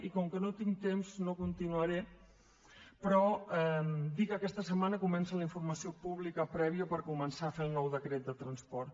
i com que no tinc temps no continuaré però dir que aquesta setmana comença la informació pública prèvia per començar a fer el nou decret de transport